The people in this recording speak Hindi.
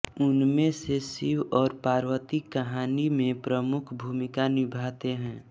उनमें से शिव और पार्वती कहानी में प्रमुख भूमिका निभाते हैं